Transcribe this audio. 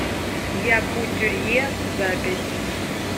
якутюрье запись